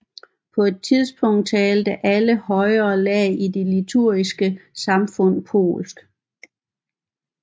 På et tidspunkt talte alle højere lag i det litauiske samfund polsk